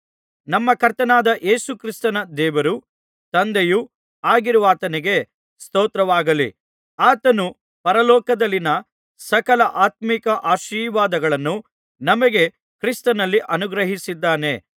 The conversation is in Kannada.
ನಮ್ಮ ಕರ್ತನಾದ ಯೇಸುಕ್ರಿಸ್ತನ ದೇವರೂ ತಂದೆಯೂ ಆಗಿರುವಾತನಿಗೆ ಸ್ತೋತ್ರವಾಗಲಿ ಆತನು ಪರಲೋಕದಲ್ಲಿನ ಸಕಲ ಆತ್ಮೀಕ ಆಶೀರ್ವಾದಗಳನ್ನು ನಮಗೆ ಕ್ರಿಸ್ತನಲ್ಲಿ ಅನುಗ್ರಹಿಸಿದ್ದಾನೆ